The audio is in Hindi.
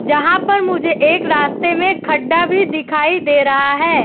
जहाँ पर मुझे एक रास्ते में खड्डा भी दिखाई दे रहा हैं।